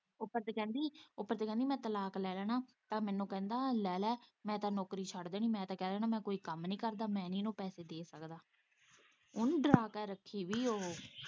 ਉੱਪਰ ਤੇ ਕਹਿੰਦੀ ਉੱਪਰ ਤੇ ਕਹਿੰਦੀ ਮੈਂ ਤਲਾਕ ਲੈ ਲੈਣਾ ਤਾਂ ਮੈਨੂੰ ਕਹਿੰਦਾ ਲੈ, ਲੈ ਮੈਂ ਤੇ ਨੌਕਰੀ ਛੱਡ ਦੇਣੀ ਮੈਂ ਤੇ ਕਹਿ ਦੇਣਾ ਮੈਂ ਕੋਈ ਕੰਮ ਨੀ ਕਰਦਾ, ਮੈਂ ਨੀ ਇਹਨੂੰ ਪੈਸੇ ਦੇ ਸਕਦਾ ਉਹਨੇ ਡਰਾਂ ਕੇ ਰੱਖੀ ਹੋਈ ਏ ਉਹ।